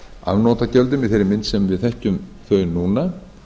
afnotagjöldum í þeirri mynd sem við þekkjum þau núna